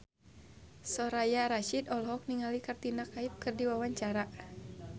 Soraya Rasyid olohok ningali Katrina Kaif keur diwawancara